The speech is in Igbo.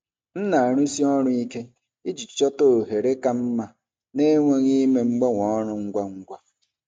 M na-arụsi ọrụ ike iji chọta ohere ka mma na-enweghị ime mgbanwe ọrụ ngwa ngwa.